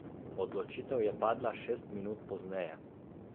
Odločitev je padla šest minut pozneje.